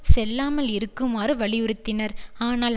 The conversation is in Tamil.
செல்லாமல் இருக்குமாறு வலியுறுத்தினர் ஆனால்